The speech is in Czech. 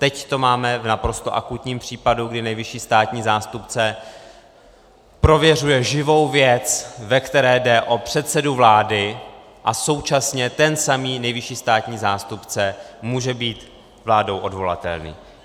Teď to máme v naprosto akutním případu, kdy nejvyšší státní zástupce prověřuje živou věc, ve které jde o předsedu vlády, a současně ten samý nejvyšší státní zástupce může být vládou odvolatelný.